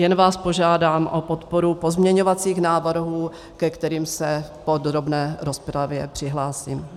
Jen vás požádám o podporu pozměňovacích návrhů, ke kterým se v podrobné rozpravě přihlásím.